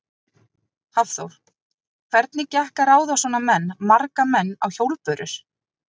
Hafþór: Hvernig gekk að ráða svona menn, marga menn á hjólbörur?